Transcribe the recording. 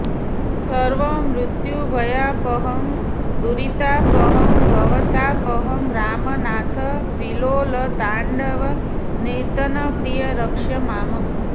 सर्वमृत्युभयापहं दुरितापहं भवतापहं रामनाथ विलोलताण्डव नर्तनप्रिय रक्ष माम्